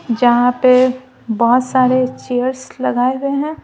जहां पे बहुत सारे चेयर्स लगाए गए हैं।